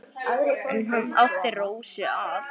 En hann átti Rósu að.